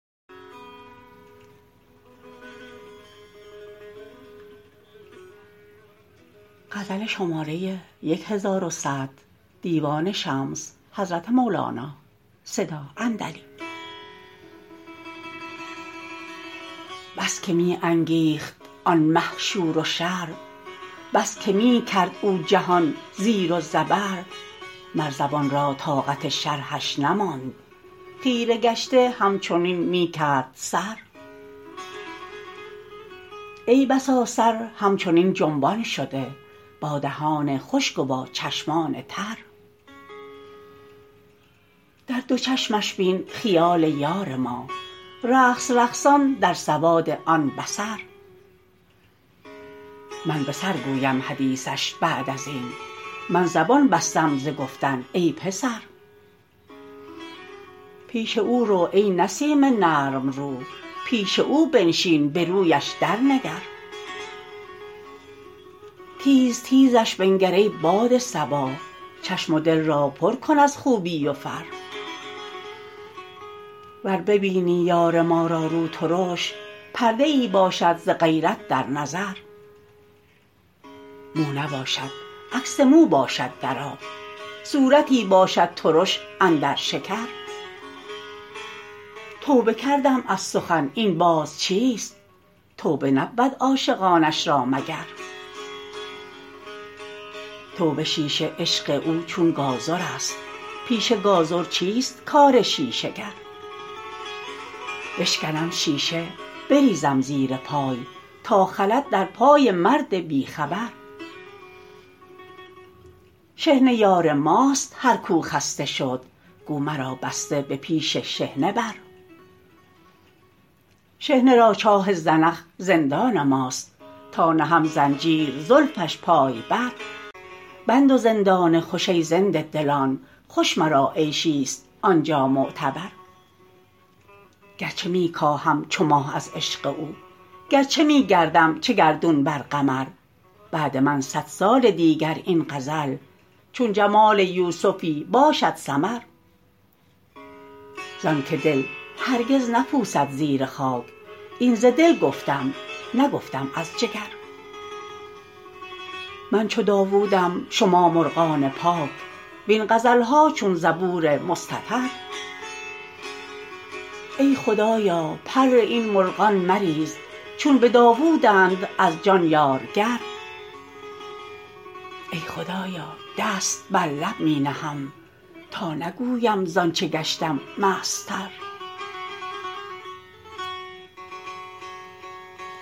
بس که می انگیخت آن مه شور و شر بس که می کرد او جهان زیر و زبر مر زبان را طاقت شرحش نماند خیره گشته همچنین می کرد سر ای بسا سر همچنین جنبان شده با دهان خشک و با چشمان تر در دو چشمش بین خیال یار ما رقص رقصان در سواد آن بصر من به سر گویم حدیثش بعد از این من زبان بستم ز گفتن ای پسر پیش او رو ای نسیم نرم رو پیش او بنشین به رویش درنگر تیز تیزش بنگر ای باد صبا چشم و دل را پر کن از خوبی و فر ور ببینی یار ما را روترش پرده ای باشد ز غیرت در نظر مو نباشد عکس مو باشد در آب صورتی باشد ترش اندر شکر توبه کردم از سخن این باز چیست توبه نبود عاشقانش را مگر توبه شیشه عشق او چون گازرست پیش گازر چیست کار شیشه گر بشکنم شیشه بریزم زیر پای تا خلد در پای مرد بی خبر شحنه یار ماست هر کو خسته شد گو مرا بسته به پیش شحنه بر شحنه را چاه زنخ زندان ماست تا نهم زنجیر زلفش پای بر بند و زندان خوش ای زنده دلان خوش مرا عیشیست آن جا معتبر گرچه می کاهم چو ماه از عشق او گرچه می گردم چه گردون بر قمر بعد من صد سال دیگر این غزل چون جمال یوسفی باشد سمر زانک دل هرگز نپوسد زیر خاک این ز دل گفتم نگفتم از جگر من چو داوودم شما مرغان پاک وین غزل ها چون زبور مستطر ای خدایا پر این مرغان مریز چون به داوودند از جان یارگر ای خدایا دست بر لب می نهم تا نگویم زان چه گشتم مستتر